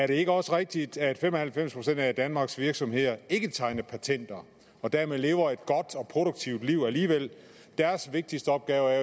det ikke også rigtigt at fem og halvfems procent af danmarks virksomheder ikke tegner patenter og dermed lever et godt og produktivt liv alligevel deres vigtigste opgave er